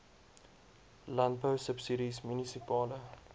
landbou subsidies munisipale